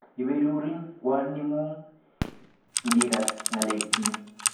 Iberurin kwaning'ung' ngikas ng'alekchi.